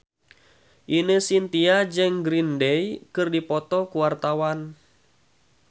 Ine Shintya jeung Green Day keur dipoto ku wartawan